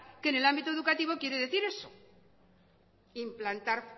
que en el ámbito educativo quiere decir eso implantar